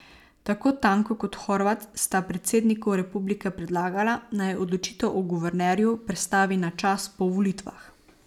Tako Tanko kot Horvat sta predsedniku republike predlagala, naj odločitev o guvernerju prestavi na čas po volitvah.